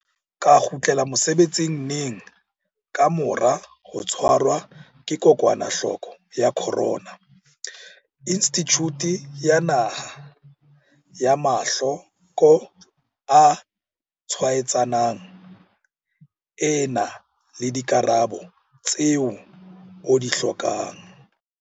Ka kgutlela mosebetsing neng ka mora ho tshwarwa ke kokwanahloko ya corona, COVID-19? Institjhuti ya Naha ya Mahlo ko a Tshwaetsanang e na le dikarabo tseo o di hlokang.